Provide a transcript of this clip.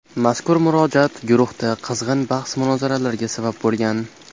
Mazkur murojaat guruhda qizg‘in bahs-munozaralarga sabab bo‘lgan.